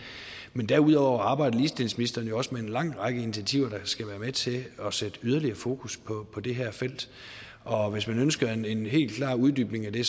men derudover arbejder ligestillingsministeren jo også med en lang række initiativer der skal være med til at sætte yderligere fokus på det her felt og hvis man ønsker en en helt klar uddybning af det